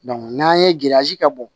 n'an ye kɛ bɔ